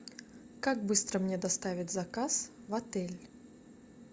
как быстро мне доставят заказ в отель